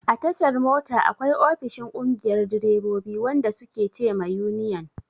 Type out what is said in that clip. A tashar mota, akwai ofishin ƙungiyar direbobi, wanda su ke ce ma yuniyan.